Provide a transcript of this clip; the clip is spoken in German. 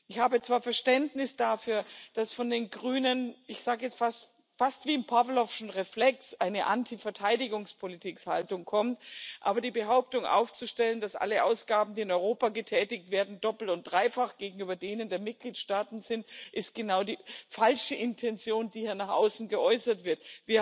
Ich habe zwar Verständnis dafür, dass von den Grünen fast wie ein Pawlowscher Reflex eine Antiverteidigungspolitik-Haltung kommt, aber die Behauptung aufzustellen, dass alle Ausgaben, die in Europa getätigt werden, doppelt und dreifach gegenüber denen der Mitgliedstaaten sind, ist genau die falsche Intention, die hier nach außen geäußert wird.